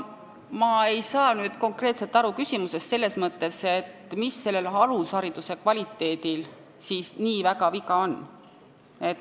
Ma ei saa nüüd küsimusest selles mõttes aru, et mis meie alushariduse kvaliteedil siis nii väga viga on.